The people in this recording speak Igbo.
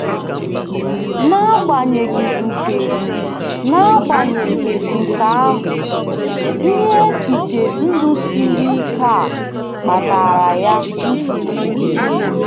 N’agbanyeghị nke N’agbanyeghị nke ahụ, ihe echiche ndụ siri ike a kpatara ya nsogbu.